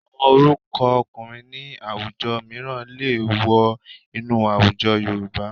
Àwọn orúkọ ọkùnrin ní àwùjọ mìíràn lè wọ inú àwùjọ Yorùbá